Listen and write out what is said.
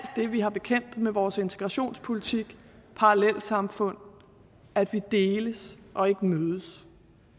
det vi har bekæmpet med vores integrationspolitik parallelsamfund at vi deles og ikke mødes